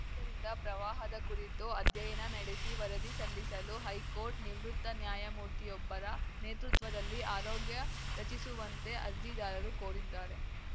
ಆದ್ದರಿಂದ ಪ್ರವಾಹದ ಕುರಿತು ಅಧ್ಯಯನ ನಡೆಸಿ ವರದಿ ಸಲ್ಲಿಸಲು ಹೈಕೋರ್ಟ್‌ ನಿವೃತ್ತ ನ್ಯಾಯಮೂರ್ತಿಯೊಬ್ಬರ ನೇತೃತ್ವದಲ್ಲಿ ಆರೋಗ್ಯ ರಚಿಸುವಂತೆ ಅರ್ಜಿದಾರರು ಕೋರಿದ್ದಾರೆ